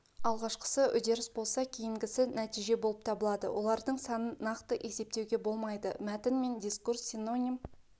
алғашқысы үдеріс болса кейінгісі нәтиже болып табылады олардың санын нақты есептеуге болмайды мәтін мен дискурс синоним